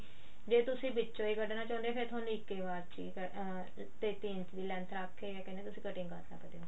ਜੇ ਤੁਸੀਂ ਵਿੱਚੋਂ ਹੀ ਕੱਢਣਾ ਚਾਹੁੰਦੇ ਹੋ ਫੇਰ ਤੁਹਾਨੂੰ ਇੱਕ ਹੀ ਵਾਰ ਚ ਅਹ ਤੇਤੀ ਇੰਚ ਦੀ length ਰੱਖ ਕੇ ਕਿਆ ਕਹਿੰਦੇ ਆ ਤੁਸੀਂ cutting ਕਰ ਸਕਦੇ ਓ